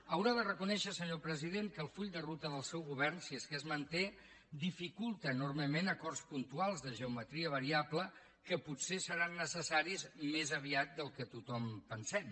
ha de reconèixer senyor president que el full de ruta del seu govern si és que es manté dificulta enormement acords puntuals de geometria variable que potser seran necessaris més aviat del que tothom pensem